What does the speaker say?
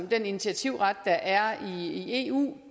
den initiativret der er i eu